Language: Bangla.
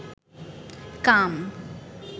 কাম